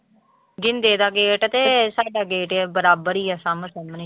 ਗਿੰਦੇ ਦਾ ਗੇਟ ਤੇ ਸਾਡਾ ਗੇਟ ਬਰਾਬਰ ਹੀ ਆ ਸਾਹਮੋ ਸਾਹਮਣੇ।